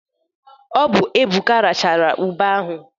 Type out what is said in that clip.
Ọbụ Ebuka rachala ube ahụ.